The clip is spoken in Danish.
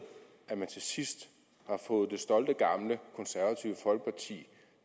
at man til sidst har fået det stolte gamle konservative folkeparti